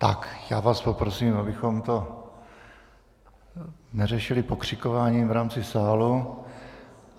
Tak, já vás poprosím, abychom to neřešili pokřikováním v rámci sálu.